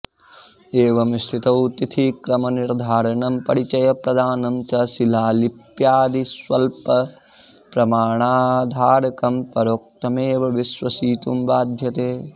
एवं स्थितौ तिथिक्रमनिर्धारणं परिचयप्रदानं च शिलालिप्यादिस्वल्पप्रमाणाधारकं परोक्तमेव विश्वसितुं बाध्यते